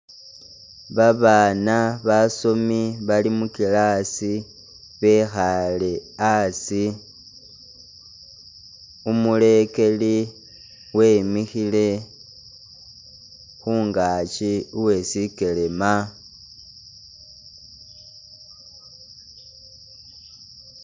Babana basomi Bali mu class bekhaale asi umulekeli wimikhile khungakyi uweshikelema